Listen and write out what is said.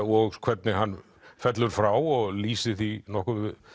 og hvernig hann fellur frá og lýsir því nokkuð